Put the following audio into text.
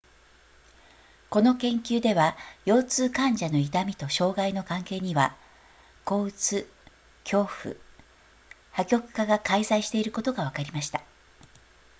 この研究では腰痛患者の痛みと障害の関係には抑うつ恐怖破局化が介在していることがわかりました